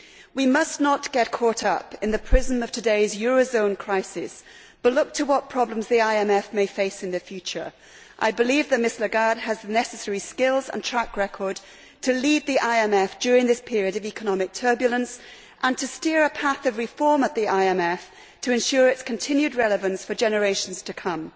We must not get caught up in the prism of today's eurozone crisis but look to what problems the IMF may face in the future. I believe that Ms Lagarde has the necessary skills and track record to lead the IMF during this period of economic turbulence and to steer a path of reform at the IMF to ensure its continued relevance for generations to come.